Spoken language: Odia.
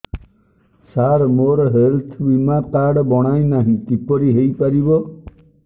ସାର ମୋର ହେଲ୍ଥ ବୀମା କାର୍ଡ ବଣାଇନାହିଁ କିପରି ହୈ ପାରିବ